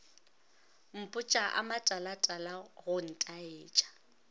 mpotša a matalatala go ntaetša